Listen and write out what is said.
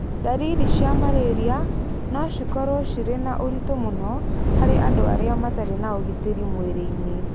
Ndariri cia malaria no cikorũo cirĩ na ũritũ mũno harĩ andũ arĩa matarĩ na ũgitĩri mwĩrĩinĩ